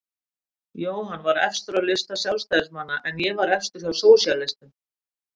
Jóhann var efstur á lista Sjálfstæðismanna en ég var efstur hjá sósíalistum.